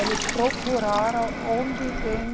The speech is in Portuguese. Eles procuraram onde tem...